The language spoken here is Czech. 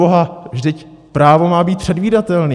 Proboha, vždyť právo má být předvídatelné!